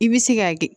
I bɛ se ka kɛ